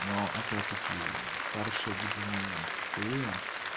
но опять-таки старшие люди не тупые